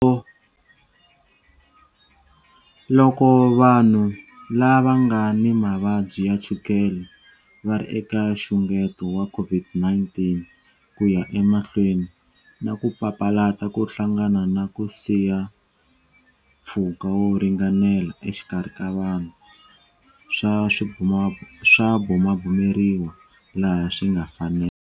Loko vanhu lava nga ni mavabyi ya chukele va ri eka nxungeto wa COVID-19, ku ya emahlweni na ku papalata ku hlangana na ku siya mpfhuka wo ringanela exikarhi ka vanhu swa bumabumeriwa laha swi nga fanela.